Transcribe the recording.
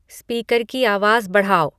speaker की आवाज़ बढ़ाओ